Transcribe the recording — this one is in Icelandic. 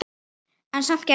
En samt gerðist ekkert.